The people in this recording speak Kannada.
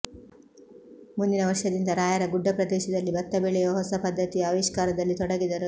ಮುಂದಿನ ವರ್ಷದಿಂದ ರಾಯರ ಗುಡ್ಡ ಪ್ರದೇಶದಲ್ಲಿ ಭತ್ತ ಬೆಳೆಯುವ ಹೊಸ ಪದ್ಧತಿಯ ಆವಿಷ್ಕಾರದಲ್ಲಿ ತೊಡಗಿದರು